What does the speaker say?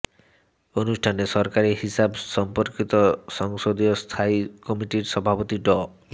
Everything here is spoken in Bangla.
অনুষ্ঠানে সরকারি হিসাব সম্পর্কিত সংসদীয় স্থায়ী কমিটির সভাপতি ড